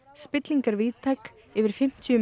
spilling er víðtæk yfir fimmtíu